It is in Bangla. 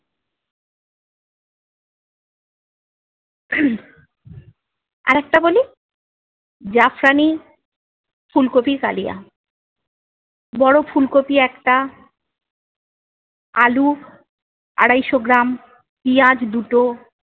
আর একটা বলি- জাফরানি ফুলকপির কালিয়া। বড়ো ফুলকপি একটা আলু আড়াইশো গ্রাম, পিঁয়াজ দুটো